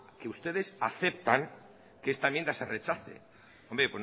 que ustedes aceptan que esta enmienda se rechace hombre